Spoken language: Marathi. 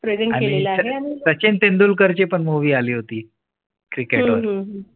सचिन तेंडुलकर ची पण movie आली होती Cricket वर